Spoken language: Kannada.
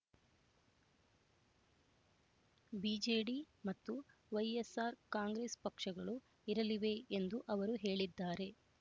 ಬಿಜೆಡಿ ಮತ್ತು ವೈಎಸ್‌ಆರ್ ಕಾಂಗ್ರೆಸ್ ಪಕ್ಷಗಳು ಇರಲಿವೆ ಎಂದು ಅವರು ಹೇಳಿದ್ದಾರೆ